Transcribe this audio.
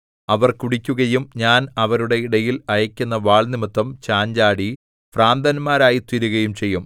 അവർ കുടിക്കുകയും ഞാൻ അവരുടെ ഇടയിൽ അയയ്ക്കുന്ന വാൾ നിമിത്തം ചാഞ്ചാടി ഭ്രാന്തന്മാരായിത്തീരുകയും ചെയ്യും